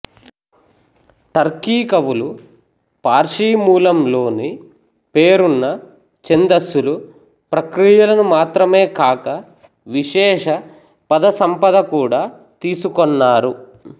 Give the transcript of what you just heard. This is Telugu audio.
టర్కీకవులు పార్శీ మూలం లోని పేరున్న ఛందస్సులు ప్రక్రియలనుమాత్రమేకాక విశేష పద సంపదకూడా తీసుకొన్నారు